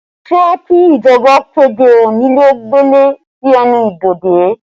Ṣé kí ìjọba kéde konile ó gbele sí ẹnu ibodè?